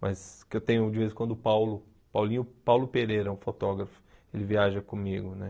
Mas que eu tenho de vez em quando o Paulo, o Paulinho, o Paulo Pereira, o fotógrafo, ele viaja comigo, né?